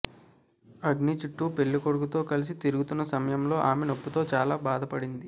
అగ్ని చుట్టూ పెళ్లికొడుకుతో కలిసి తిరుగుతున్న సమయంలో ఆమె నొప్పితో చాలా బాధపడింది